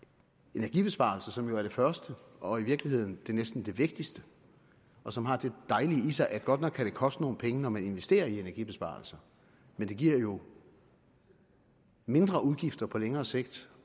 energibesparelser som er det første og i virkeligheden næsten det vigtigste og som har det dejlige i sig at godt nok kan det koste nogle penge når man investerer i energibesparelser men det giver mindre udgifter på længere sigt